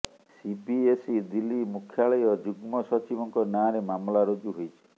CBSE Delhi ମୁଖ୍ୟାଳୟ ଯୁଗ୍ମ ସଚିବଙ୍କ ନାଁରେ ମାମଲା ରୁଜୁ ହୋଇଛି